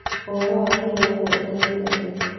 ũhoro wa kĩwatho ũtariĩ atĩa?